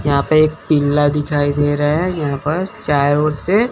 यहां पे एक पीला दिखाई दे रहा है यहां पर चार ओर से--